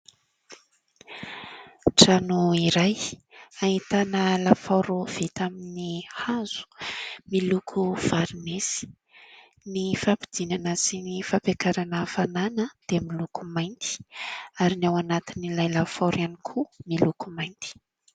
Trano iray ahitana lafaoro vita amin'ny hazo. Miloko varinesy. Ny fampidinana sy ny fampiakarana hafanana dia miloko mainty, ary ny ao anatin'ilay lafaoro ihany koa miloko mainty.